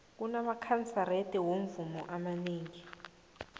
kunamakanserete womvumo amanengi